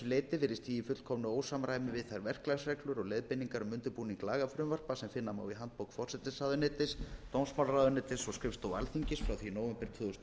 leyti virðist því í fullkomnu ósamræmi við þær verklagsreglur og leiðbeiningar um undirbúning lagafrumvarpa sem finna má í handbók forsætisráðuneytis dómsmálaráðuneytis og skrifstofu alþingis frá nóvember tvö þúsund og